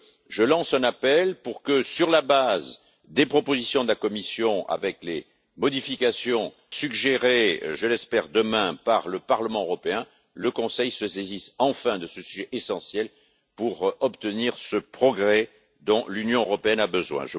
Je lance donc un appel pour que, sur la base des propositions de la Commission avec les modifications suggérées je l'espère, demain par le Parlement européen, le Conseil se saisisse enfin de ce sujet essentiel pour obtenir ce progrès dont l'Union européenne a besoin.